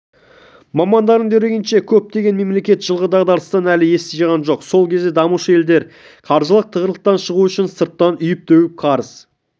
мамандардың дерегінше көптеген мемлекет жылғы дағдарыстан әлі ес жиған жоқ сол кезде дамушы елдер қаржылық тығырықтан шығу үшін сырттан үйіп-төгіп қарыз